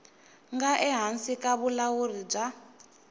nga ehansi ka vulawuri bya